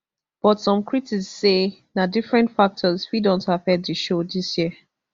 but some critics say na different factors fit don affect di show dis year